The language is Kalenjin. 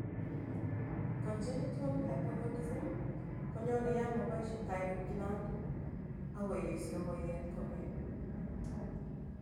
Congenital hypothrodism konyonee yaan maboisie thyroid gland ako yesyo koyeet komyee